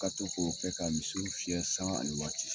Ka to k'okɛ ka misiw fiyɛ sangan ani waati.